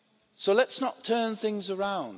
So let's not turn things around.